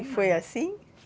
E foi assim?